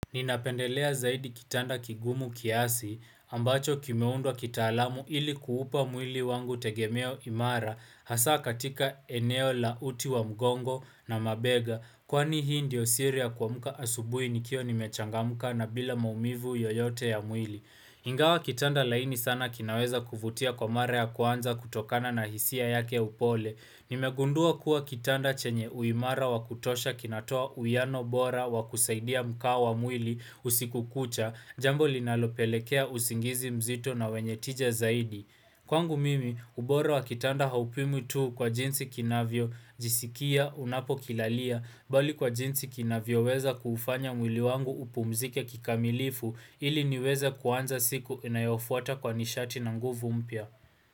Ninapendelea zaidi kitanda kigumu kiasi ambacho kimeundwa kita alamu ili kuupa mwili wangu tegemeo imara hasa katika eneo la uti wa mgongo na mabega Kwani hii ndiyo siri ya kuamuka asubui nikiwa nimechanga muka na bila maumivu yoyote ya mwili Ingawa kitanda laini sana kinaweza kuvutia kwa mara ya kwanza kutokana na hisia yake upole ni megundua kuwa kitanda chenye uimara wa kutosha kinatoa uiano bora wa kusaidia mkao wa mwili usikukucha Jambo linalopelekea usingizi mzito na wenye tija zaidi Kwangu mimi, ubora wa kitanda haupimwi tuu kwa jinsi kinavyo jisikia unapo kilalia Bali kwa jinsi kinavyo weza kuufanya mwili wangu upumzike kikamilifu ili niweze kuanza siku inayofuata kwa nishati na nguvu mpya.